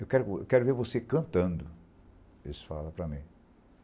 Eu quero, eu quero ver você cantando, eles falam para mim.